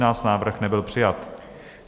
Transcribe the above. Návrh nebyl přijat.